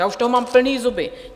Já už toho mám plný zuby.